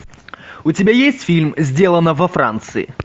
у тебя есть фильм сделано во франции